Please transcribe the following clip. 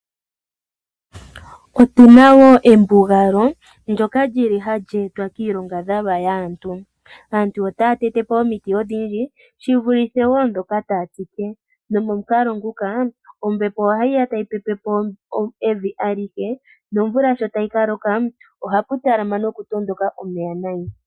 Otuna wo embugalo ndyoka lyili hali etwa kiilongadhalwa yaantu. Aantu otaya tete po omiti odhindji shi vulithe wo ndhoka taya tsike, nomomukalo nguka ombepo ohayi ya tayi pepe po evi alihe, nomvula sho tayi ka loka ohapu talama noku tondoka omeya nayi.